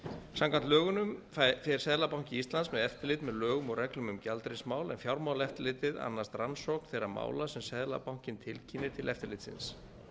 samkvæmt lögunum fer seðlabanki íslands með eftirlit með lögum og reglum um gjaldeyrismál en fjármálaeftirlitið annast rannsókn þeirra mála sem seðlabankinn tilkynnir til eftirlitsins